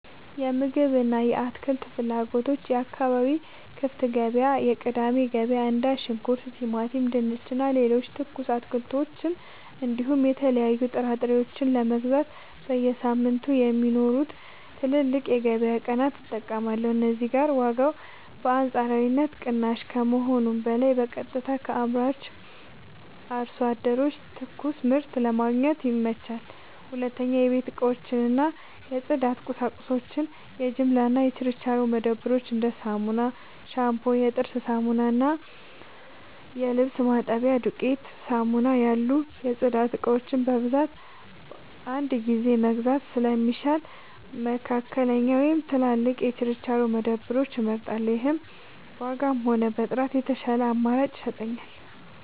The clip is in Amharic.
የምግብ እና የአትክልት ፍላጎቶች የአካባቢ ክፍት ገበያዎች (የቅዳሜ ገበያ): እንደ ሽንኩርት፣ ቲማቲም፣ ድንች እና ሌሎች ትኩስ አትክልቶችን እንዲሁም የተለያዩ ጥራጥሬዎችን ለመግዛት በየሳምንቱ የሚኖሩትን ትላልቅ የገበያ ቀናት እጠቀማለሁ። እዚህ ጋር ዋጋው በአንጻራዊነት ቅናሽ ከመሆኑም በላይ በቀጥታ ከአምራች አርሶ አደሮች ትኩስ ምርት ለማግኘት ይመቻቻል። 2. የቤት እቃዎች እና የጽዳት ቁሳቁሶች የጅምላ እና የችርቻሮ መደብሮች: እንደ ሳሙና፣ ሻምፑ፣ የጥርስ ሳሙና እና የልብስ ማጠቢያ ዱቄት (ዱቄት ሳሙና) ያሉ የጽዳት እቃዎችን በብዛት በአንድ ጊዜ መግዛት ስለሚሻል፣ መካከለኛ ወይም ትላልቅ የችርቻሮ መደብሮችን እመርጣለሁ። ይህም በዋጋም ሆነ በጥራት የተሻለ አማራጭ ይሰጠኛል።